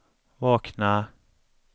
vakna